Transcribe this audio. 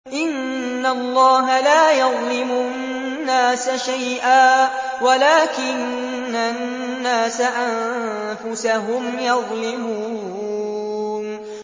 إِنَّ اللَّهَ لَا يَظْلِمُ النَّاسَ شَيْئًا وَلَٰكِنَّ النَّاسَ أَنفُسَهُمْ يَظْلِمُونَ